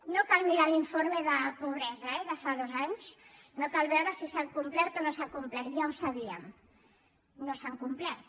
no cal mirar l’informe de pobresa eh de fa dos anys no cal veure si s’ha complert o no s’ha complert ja ho sabíem no s’han complert